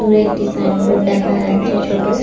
দূরে একটি sign board দেখা যাচ্ছে ছোটো ।